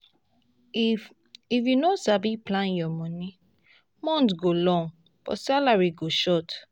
if if you no sabi plan your money month go long but salary go short.